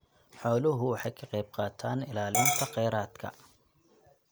Xooluhu waxay ka qaybqaataan ilaalinta kheyraadka.